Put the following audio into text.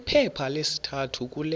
kwiphepha lesithathu kule